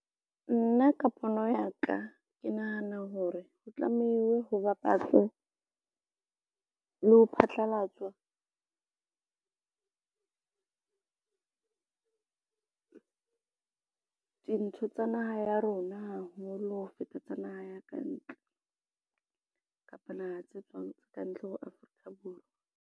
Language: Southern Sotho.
Nna ka pono ya ka ke nahana hore ho tlamehiwe ho bapatswe, le ho phatlalatswa dintho tsa naha ya rona haholo ho feta tsa naha ya kantle, kapa naha tse tswang kantle ho Afrika Borwa.